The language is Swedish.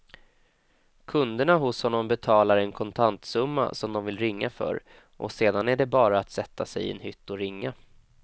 Kunderna hos honom betalar en kontantsumma som de vill ringa för och sedan är det bara att sätta sig i en hytt och ringa.